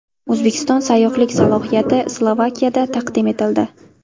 O‘zbekiston sayyohlik salohiyati Slovakiyada taqdim etildi.